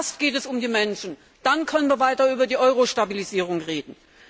Erst geht es um die Menschen, dann können wir weiter über die Euro Stabilisierung reden.